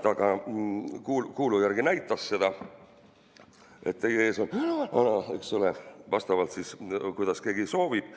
Ta kuuldu järgi ka demonstreeris seda: "teie ees on ... vana", eks ole, kuidas keegi soovib.